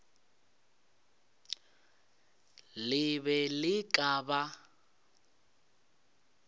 le be le ka ba